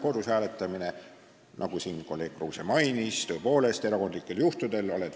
Kodus hääletamine, nagu kolleeg Kruuse mainis, on tõepoolest mõeldud erandlike juhtude jaoks.